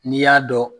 N'i y'a dɔn